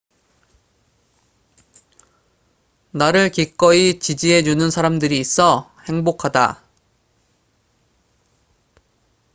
나를 기꺼이 지지해 주는 사람들이 있어 행복하다